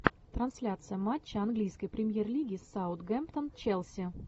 трансляция матча английской премьер лиги саутгемптон челси